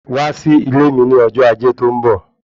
Wá sí ilé mi ní ọjọ́ ajé tó ń bọ̀